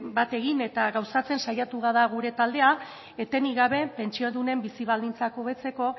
bat egin eta gauzatzen saiatu da gure taldea etenik gabe pentsiodunen bizi baldintzak hobetzeko